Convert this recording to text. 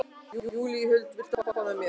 Júlíhuld, viltu hoppa með mér?